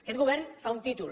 aquest govern fa un títol